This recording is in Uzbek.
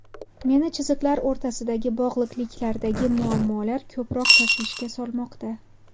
Meni chiziqlar o‘rtasidagi bog‘liqliklardagi muammolar ko‘proq tashvishga solmoqda.